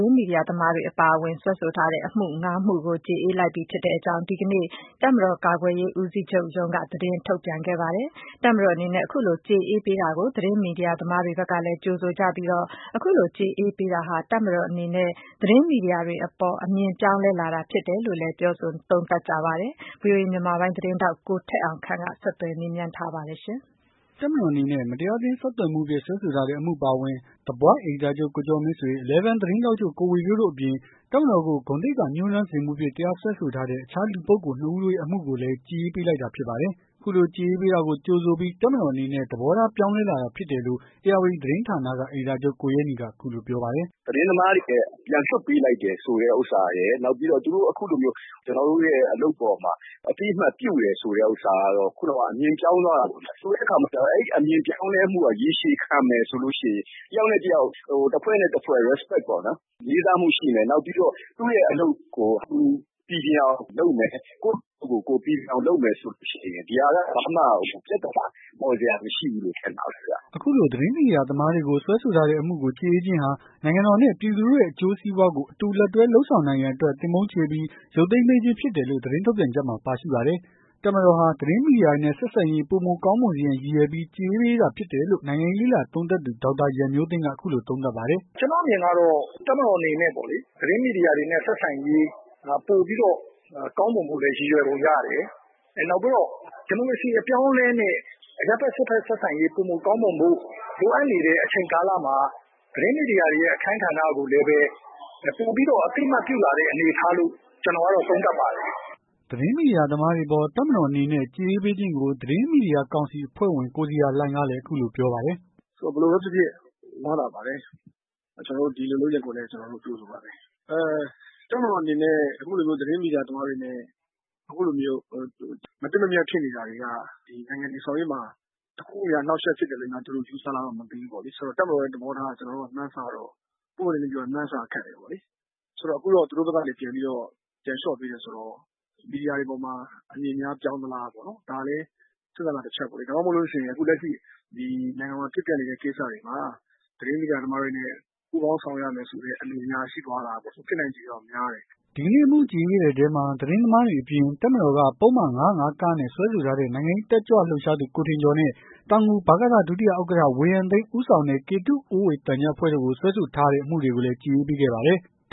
င်းမီဒီယာသမားများအပါအဝင် စွဲဆိုထားတဲ့ အမှု ၅ မှုကို ကျေအေးပေး လိုက်ကြောင်း ဒီကနေ့တပ်မတော်ကာကွယ်ရေးဦးစီးချုပ်ရုံးက သတင်းထုတ်ပြန်ခဲ့ပါတယ်။ တပ်မတော်အနေနဲ့ အခုလိုကျေအေးပေးပေးတာကို သတင်းမီဒီယာသမားတွေဘက်ကလည်း ကြိုဆိုကြပြီးတော ဒီလိုကျေအေးပေးတာဟာ တပ်မတော်အနေနဲ့ သတင်းမီဒီယာတွေအပေါ် အမြင်ပြောင်းလဲ လာတာဖြစ်တယ် လို့လည်း ပြောဆိုမှုတွေရှိပါတယ်။ ဒီသတင်းကို ဗွီအိုအေမြန်မာပိုင်း သတင်းထောက်ကိုထက်အောင်ခန့်က ဆက်သွယ်မေးမြန်းထားပါတယ်။ တပ်မတော်အနေနဲ့ မတရားအသင်းဆက်သွယ်မှုဖြင့် စွဲဆိုထားတဲ့ အမှုအပါအဝင် The Voice အယ်ဒီတာချုပ်ကိုကျော်မင်းဆွေ ၊ Eleven သတင်းထောက်ချုပ် ကိုဝေဖြိုးတို့အပြင် တပ်မတော်ကို ဂုဏ်သိက္ခာညှိးနွမ်းစေမှုဖြင့် တရားစွဲဆိုထားတဲ့ တခြားလူပုဂ္ဂိုလ် ၂ ဦးတို့ရဲ့ အမှုကိုလည်း ကျေအေးပေးလိုက်တာဖြစ်ပါတယ်။ အခုလိုကြေအေးပေးတာကို ကြိုဆိုပြီး တပ်မတော်အနေနဲ့ သဘောထား ပြောင်းလဲလာတာဖြစ်တယ်လို့ ဧရာဝတီသတင်းဌာနက အယ်ဒီတာချုပ်ကို ရဲနီကအခုလိုပြောပါတယ်။ "သတင်းသမားတွေရဲ့ ပြန်လွှတ်ပေးလိုက်တယ်ဆိုတဲ့ဟာရယ် နောက်ပြီးတော့ သူတို့အခုလိုမျိုး ကျွန်တော်တို့ရဲ့လုပ်ငန်းအပေါ်မှာ ကျွန်တော်တို့ရဲ့အလုပ်အပေါ်မှာ အသိမှတ်ပြုတယ်ဆိုတဲ့ဟာက အမြင်ပြောင်းသွားတာပေါ့ဗျာ။ ဆိုလိုတဲ့ဟာက အဲ့အမြင်ပြောင်းလဲ မှုကရေရှည်ခံမယ်ဆိုရင် တယောက်နဲ့တယောက် တဖွဲ့နဲ့တဖွဲ့ Respect ပေ့ါ အဲ့လိုမျိုးလေးစားမှုရှိမယ်။ ပြီးတော့ သူရဲ့အလုပ်ကိုသူ ပီပြင်အောင်လုပ်မယ်။ ကိုယ့်အလုပ်ကိုယ်ပီပြင်အောင်လုပ်မယ်ဆိုရင် ဒီဟာကဘာပြသာနာမှ ပေါ်စရာမရှိဘူးလို့ထင်တာပဲခင်ဗျာ။" အခုလိုသတင်းမီဒီယာသမားတွေကိုစွဲဆိုထားတဲ့အမှုကို ကျေအေးခြင်းဟာ နိုင်ငံတော်နဲ့ပြည်သူတို့ရဲ့ အကျိုးစီးပွားကို အတူလက်တွဲလုပ်ဆောင်နိုင်ရန်အတွက် သင်ပုန်းချေပြီး ရုပ်သိမ်းပေးခြင်းဖြစ်တယ်လို့ သတင်းထုတ်ပြန်ချက်မှာပါရှိပါတယ်။ တပ်မတော်ဟာ သတင်းမီဒီယာတွေနဲ့ ဆက်ဆံရေးပိုမိုကောင်းမွန်စေရန်ရည်ရွယ်ပြီး ကျေအေးပေးတာဖြစ်တယ်လို့ နိုင်ငံရေးလေ့လာ သုံးသပ်သူ ဒေါက်တာရန်မျိုးသိမ်းက အခုလိုသုံးသပ်ပါတယ်။ "ကျွန်တော့်အမြင်ကတော့ ဒီတပ်မတော်အနေနဲ့ပေါ့လေ ဒီသတင်းမီဒီယာတွေနဲ့ ဆက်ဆံရေး ပိုပြီးတော့ကောင်းမွန်ဖို့ရည်ရွယ်ပုံရတယ်။ နောက်ပြီးတော့ ဒီမိုကရေစီအပြောင်းအလဲနဲ့ ဒီအရပ်ဖက်စစ်ဖက်ဆက်ဆံရေးပိုမိုကောင်းမွန်ဖို့ လိုအပ်နေတဲ့အချိန်ကာလမှာ သတင်းမီဒီယာတွေရဲ့ အခန်းဏ္ဍကိုလည်းပဲ ပိုပြီးတော့ အသိအမှတ်ပြုလာတဲ့အနေအထားလို့ ကျွန်တော်ကတော့သုံးသပ်ပါတယ်။" သတင်းမီဒီယာသမားတွေအပေါ် တပ်မတော်အနေနဲ့ ကျေအေးပေးခြင်းကို သတင်းမီဒီယာကောင်စီအဖွဲ့ဝင် ကိုဇေယျာလှိုင်ကလည်း အခုလိုပြောပါတယ်။ "ဘယ်လိုပဲဖြစ်ဖြစ်ဝမ်းသာပါတယ်။ ကျွန်တော်တို့ဒီလိုလုပ်ရပ်ကိုလည်း ကျွန်တော်တို့ကြိုဆိုပါတယ်။ တပ်မတော်အနေနဲ့ သတင်းမီဒီယာသမားတွေနဲ့ အခုလိုမျိုးဒီ ဘယ်လိုပြောမလည်း မသင့်မမြတ်ဖြစ်နေတာတွေက နိုင်ငံတည်ဆောက်ရေးမှာ တခုခုများ အနှောက်ယှက်ဖြစ်တယ်လို့ ယူဆလားမသိဘူးပေါ့လေ။ တပ်မတော်ရဲ့ သဘောထားကတော့ မှန်းဆရ ပွင့်ပွင့် လင်းလင်းပြောရင် မှန်းဆရခက်တယ်ပေါ့။ အခုတော့ သူတို့ဘက်ကနေပြန်ပြီးတော့ ပြန်လျော့ပေးတယ်ဆိုတော့ သူတို့ဘက်က မီဒီယာတွေအပေါ်မှာ အမြင်များပြောင်းမလား ဒါလည်းစဉ်းစားစရာတချက်ပေါ့။ ဒါမှမဟုတ်ရင် အခုလက်ရှိ ဖြစ်နေတဲ့ ဒီနိုင်ငံမှာ ဖြစ်ပျက်နေတဲ့ကိစ္စတွေမှာ သတင်းမီဒီယာသမားတွေနဲ့ ပူးပေါင်းဆောင်ရွက်ရမယ်ဆိုတဲ့အမြင်များ ရှိသွားလားပေါ့။ ဖြစ်နိုင်ချေက များတယ်။" ဒီကနေ့အမှုကျေအေးပေးတဲ့အထဲမှာ သတင်းသမားတွေအပြင် တပ်မတော်က ပုဒ်မ ၅၀၅ စွဲဆိုထားတဲ့ နိုင်ငံရေးတက်ကြွ လှုပ်ရှားသူ ကိုထင်ကျော်နဲ့ တောင်ငူဗကသ ဒုတိယ ဥက္ကဌ ဝေယံသိန်း ဦးဆောင်တဲ့ ကေတုအိုးဝေသံချပ်အဖွဲ့တို့ကို စွဲဆိုထားတာ အမှုတွေကိုလည်း ကျေအေးပေးခဲ့ပါတယ်။